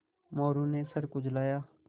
मोरू ने सर खुजलाया